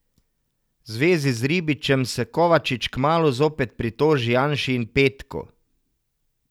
V zvezi z Ribičem se Kovačič kmalu zopet pritoži Janši in Petku.